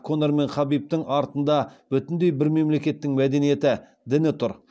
конор мен хабибтің артында бүтіндей бір мемлекеттің мәдениеті діні тұр